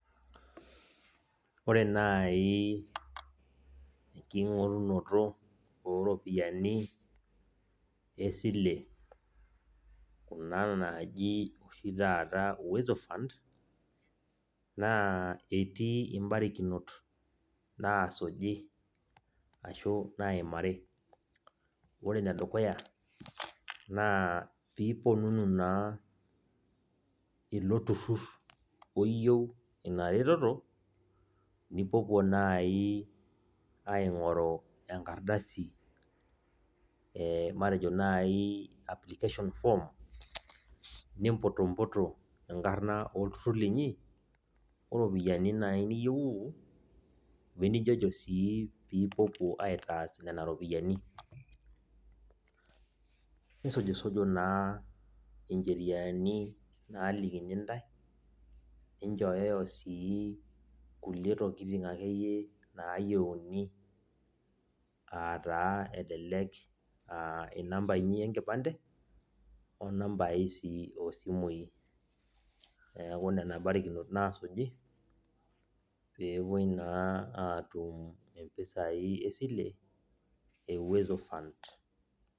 Ore nai enking'orunoto oropiyiani esile, ena naji oshi taata Uwezo Fund, naa etii ibarakinot naasuji ashu naimari. Ore enedukuya, naa piiponunu naa ilo turrurr oyieu ina reteto, nipuopuo nai aing'oru enkardasi, eh matejo nai application form, nimputumputu enkarna olturrur linyi, oropiyiani nai niyieuu, wenijojo si pipuopuo aitaas nena ropiyiani. Nisujusuju naa incheriani nalikini ntae, ninchoyoyo si kulie tokiting akeyie nayieuni, ataa elelek ah inamba inyi enkipande, onambai si osimui. Neeku nena barikinot nasuji, pepoi naa atum impisai esile, e Uwezo Fund.